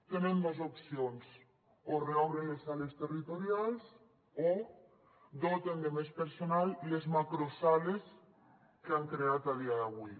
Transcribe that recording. tenen dos opcions o reobren les sales territorials o doten de més personal les macrosales que han creat a dia d’avui